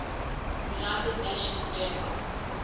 united nations general